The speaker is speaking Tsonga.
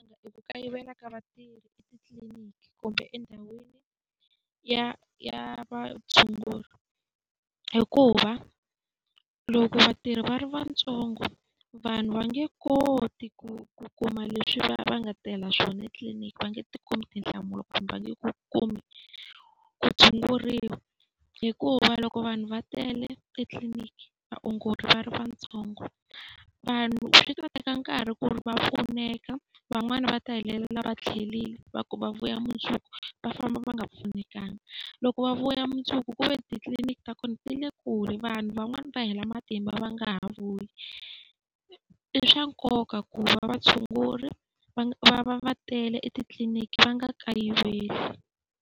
I ku kayivela ka vatirhi etitliliniki kumbe endhawini ya ya vatshunguri hikuva, loko vatirhi va ri vantsongo vanhu va nge koti ku kuma leswi va va nga tela swona etliliniki. Va nge ti kumi tinhlamulo kumbe va nge ku kumi ku tshunguriwa. Hikuva loko vanhu va tele etliliniki, vaongori va ri vatsongo, vanhu swi ta teka nkarhi ku ri va pfuneka. Van'wani va ta hetelela va tlherile va ku va vuya mundzuku, va famba va nga pfunekangi. Loko va vuya mundzuku ku ve titliliniki ta kona ti le kule, vanhu van'wana va hela matimba va nga ha vuyi. I swa nkoka ku va vatshunguri va va va va tele etitliliniki va nga kayiveli.